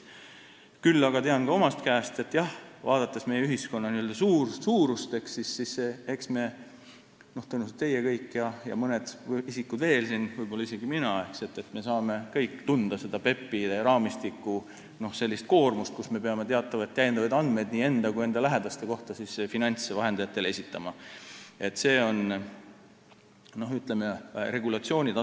Küll aga tean ka omast käest, et vaadates meie ühiskonna suurust, saate tõenäoliselt teie kõik ja mõned isikud veel, võib-olla isegi mina, tunda seda PEP-ide raamistiku koormust, kui me peame finantsvahendajatele esitama teatavaid täiendavaid andmeid nii enda kui ka oma lähedaste kohta.